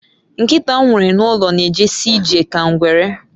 Nkita m nwere n'ulo n'ejezi ije ka ngwere